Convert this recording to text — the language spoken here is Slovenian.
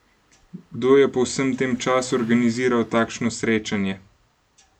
Kdo je po vsem tem času organiziral takšno srečanje?